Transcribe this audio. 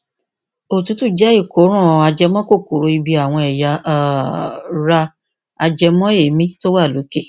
òtútù jẹ ìkóràn ajẹmọ kòkòrò ibi àwọn ẹya um ra ajẹmọ èémí tó wà lókè